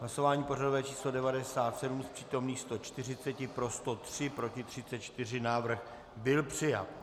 Hlasování pořadové číslo 97, z přítomných 140 pro 103, proti 34, návrh byl přijat.